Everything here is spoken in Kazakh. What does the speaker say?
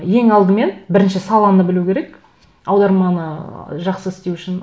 ең алдымен бірінші саланы білу керек аударманы жақсы істеу үшін